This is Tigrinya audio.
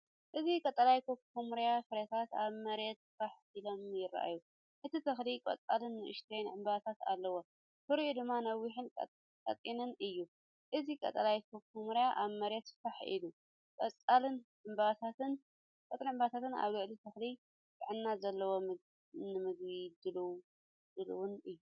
እዚ ቀጠልያ ኩኩሜር ፍረታት ኣብ መሬት ፋሕ ኢሎም የርኢ። እቲ ተኽሊ ቆጽልን ንኣሽቱ ዕምባባታትን ኣለዎ፣ ፍረኡ ድማ ነዊሕን ቀጢንን እዩ። እዚ ቀጠልያ ኩኩሜር ኣብ መሬት ፋሕ ኢሉ፡ ቆጽልን ዕምባባታትን ኣብ ልዕሊ ተኽሊ። ጥዕና ዘለዎን ንምግቢ ድሉውን እዩ።